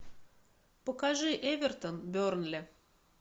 покажи эвертон бернли